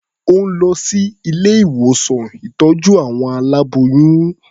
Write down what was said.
Ó ń lọ sí ilé-ìwòsán ìtọ́jú àwọn aláboyún.